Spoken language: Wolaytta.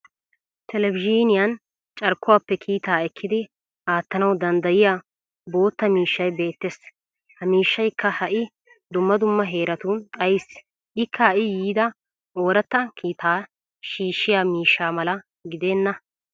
Televizhiiniyan carkkuwaappe kiitaa ekkidi aattanawu danddayiya bootta miishshay beettes. Ha miishshayikka ha'i dumma dumma heeratun xayis ikka ha'i yiida ooratta kiitaa shiishshiya miishshaa mala gidenna.